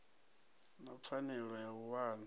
na pfanelo ya u wana